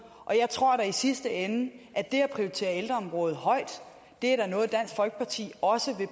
og jeg tror da i sidste ende at det at prioritere ældreområdet højt er noget dansk folkeparti også vil